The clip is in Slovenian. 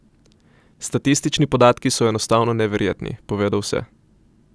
Statistični podatki so enostavno neverjetni, povedo vse.